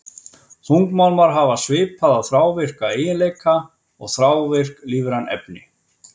Þungmálmar hafa svipaða þrávirka eiginleika og þrávirk lífræn efni.